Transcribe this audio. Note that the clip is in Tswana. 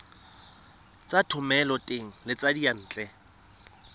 tsa thomeloteng le tsa diyantle